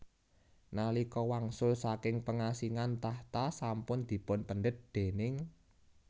Nalika wangsul saking pengasingan tahta sampun dipunpendhet déning